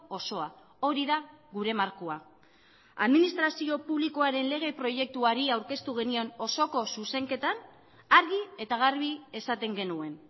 osoa hori da gure markoa administrazio publikoaren lege proiektuari aurkeztu genion osoko zuzenketan argi eta garbi esaten genuen